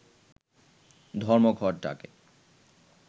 ধর্মঘট ডাকে